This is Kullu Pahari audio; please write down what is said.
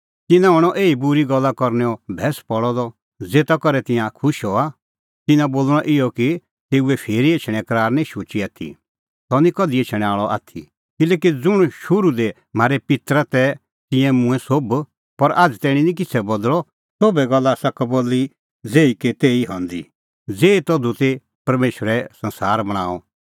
तिन्नां बोल़णअ इहअ कि तेऊए फिरी एछणें करार निं शुची आथी सह निं कधि एछणैं आल़अ आथी किल्हैकि ज़ुंण शुरू दी म्हारै पित्तर तै तिंयां मूंऐं सोभ पर आझ़ तैणीं निं किछ़ै बदल़अ सोभै गल्ला आसा कबल्ली ज़ेही कै तेही हंदी ज़ेही तधू ती ज़धू परमेशरै संसार बणांअ